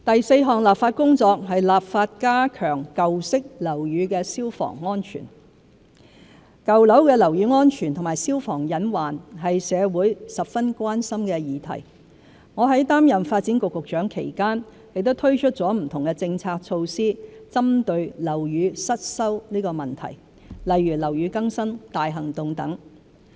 四立法加強舊式樓宇消防安全舊樓的樓宇安全和消防隱患是社會十分關心的議題，我在擔任發展局局長期間亦推出不同政策措施針對樓宇失修問題，例如"樓宇更新大行動"等。